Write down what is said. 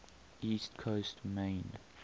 east coast maine